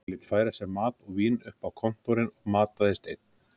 Hann lét færa sér mat og vín upp á kontórinn og mataðist einn.